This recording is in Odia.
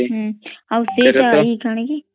ହଁଁ ଆଉ ସେଇଟା ଟାଣିକି